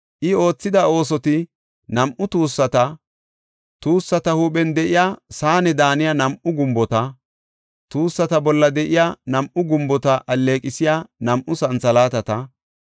I oothida oosoti, nam7u tuussata, tuussata huuphen de7iya saane daaniya nam7u gumbota, tuussata bolla de7iya nam7u gumbota alleeqisiya nam7u santhalaatata,